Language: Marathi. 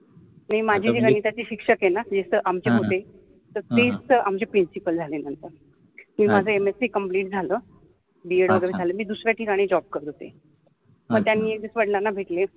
माझि जि गणिताचि शिक्षक आहेन तिच ति आमचि होते तुच त आमचि प्रिंसिपल झालि आता मि माझ MSC कम्प्लिट झाल BEd वगेरे झाल मि दुसर्या ठिकानि जॉब करत होते मग त्यानि वडलाना भेटले